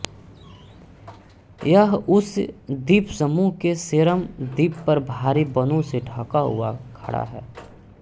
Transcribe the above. यह उस द्वीपसमूह के सेरम द्वीप पर भारी वनों से ढका हुआ खड़ा है